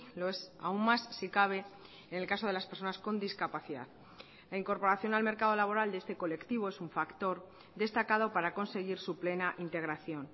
lo es aún más si cabe en el caso de las personas con discapacidad la incorporación al mercado laboral de este colectivo es un factor destacado para conseguir su plena integración